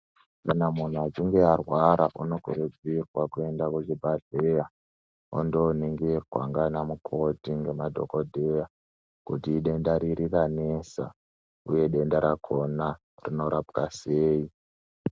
Kana muntu achinge arwara anokurudzirwa kuenda kuzvibhehleya ondooningirwa ndana mukoti ngemadhogodheya kuti idenda riri ranesa uye denda rakhona rinopwa sei